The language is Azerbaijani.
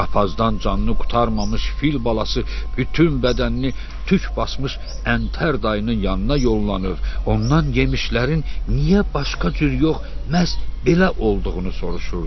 Qapazdan canını qurtarmamış fil balası bütün bədənini tük basmış əntər dayının yanına yollanır, ondan yemişlərin niyə başqa cür yox, məhz belə olduğunu soruşurdu.